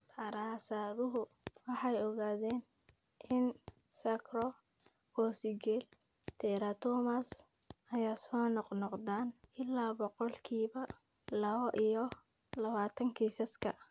Daraasaduhu waxay ogaadeen in sacrococcygeal teratomas ay soo noqnoqdaan ilaa boqolkiba lawo iyo lawatan kiisaska.